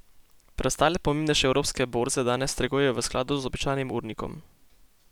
Preostale pomembnejše evropske borze danes trgujejo v skladu z običajnim urnikom.